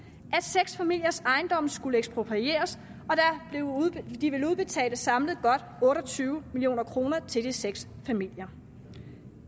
at seks familiers ejendomme skulle eksproprieres og de ville udbetale samlet godt otte og tyve million kroner til de seks familier